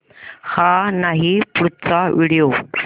हा नाही पुढचा व्हिडिओ